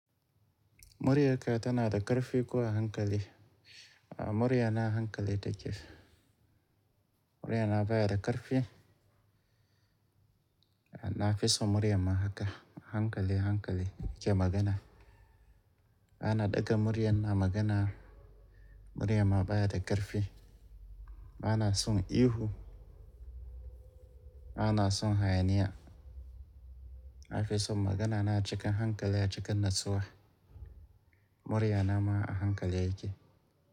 Muryarka tanada ƙarfi kuwa hankali. A muriya na hankali take. Muriya na baya da ƙarfi. Na fi so muryan ma haka hankali, hankali ke magana. Ba na ɗaga muryan na magana. Muriya ma baya da ƙarfi. Ba na son ihu. Ba na son hayaniya. Na fi so magana na cikin hankali a cikin natsuwa. Murya na ma a hankali yake.